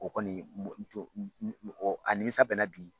O kɔni a nimisa bɛ n na bi.